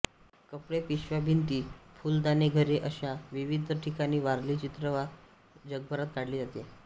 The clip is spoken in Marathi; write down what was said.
कपडेपिशव्याभिंतीफुलदाणीघरे अशा विविध ठिकाणी वारली चित्रकला जगभरात काढली जाते